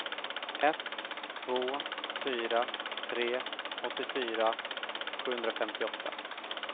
ett två fyra tre åttiofyra sjuhundrafemtioåtta